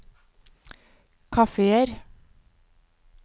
kafeer